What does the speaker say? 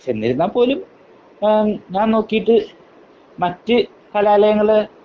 എന്നിരുന്നാൽ പോലും എഹ് ഞാൻ നോക്കിയിട്ട് മറ്റു കലാലയങ്ങളെ